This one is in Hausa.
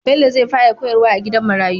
Bello zai fara koyar wa a gidan marayu